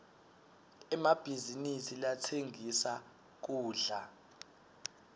emabhizinisi latsengisa kudla